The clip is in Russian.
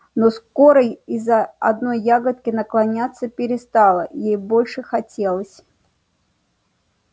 но скоро из-за одной ягодки наклоняться перестала ей больше хотелось